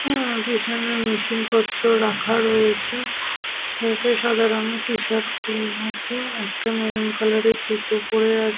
হুম পিছনে মেশিন -পত্র রাখা রয়েছে। ছেলেটি সাদা রঙের টিশার্ট পরে আছে। একটা মেরুন কালার -এর জুতো পরে আছ--